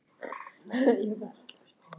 Sigríkur, hvað er jörðin stór?